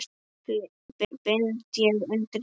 bind ég undir skó